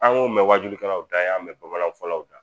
An y'o mɛn wajukɛlaw da, an y'an mɛn bamananfɔlaw da.